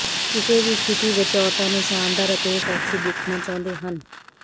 ਕਿਸੇ ਵੀ ਸਥਿਤੀ ਵਿਚ ਔਰਤਾਂ ਨੂੰ ਸ਼ਾਨਦਾਰ ਅਤੇ ਸੈਕਸੀ ਦੇਖਣਾ ਚਾਹੁੰਦੇ ਹਨ